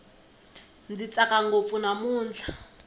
ndzi tsaka ngopfu namutlha